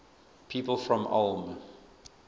people from ulm